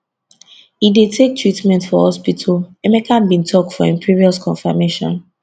e dey take treatment for hospital emeka bin tok for im previous confirmation